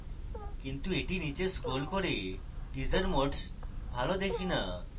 কিন্তু আমি নীচে scroll করলে teaser modes ভালো দেখি না